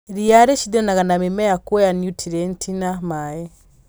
Ria rĩshidanaga na mĩmera kwoya niutrienti na maĩ.